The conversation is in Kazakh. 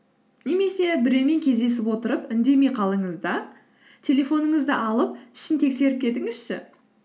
немесе біреумен кездесіп отырып үндемей қалыңыз да телефоныңызды алып ішін тексеріп кетіңізші